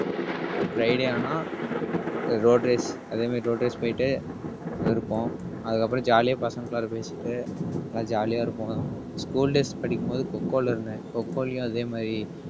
friday ஆனா rotary அதே மாதிரி rotary போயிட்டு இருப்போம். அதுக்கப்புறம் jolly ஆ பசங்களகுள்ளரா பேசிட்டு எல்லாம் jolly யா இருப்போம். school days படிக்கும் போது coco ல இருந்தேன். coco லயும் அதே மாறி